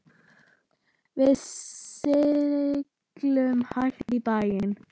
Við sigldum hægt í bæinn.